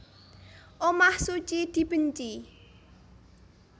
Omah suci dibenci